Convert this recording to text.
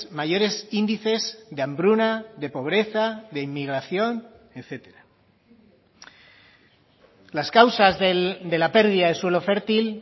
mayores índices de hambruna de pobreza de inmigración etcétera las causas de la pérdida de suelo fértil